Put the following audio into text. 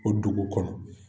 O dugu kɔnɔ